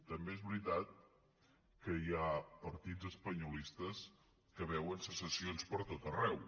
també és veritat que hi ha partits espanyolistes que veuen secessions per tot arreu